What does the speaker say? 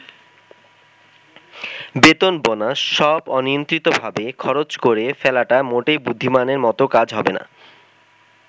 বেতন-বোনাস সব অনিয়ন্ত্রিতভাবে খরচ করে ফেলাটা মোটেই বুদ্ধিমানের মতো কাজ হবে না।